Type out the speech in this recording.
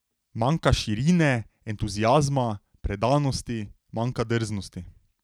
Manjka širine, entuziazma, predanosti, manjka drznosti.